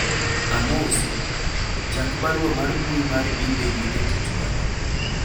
amosi ,chak barua mar mbui mar email ne jatich wadu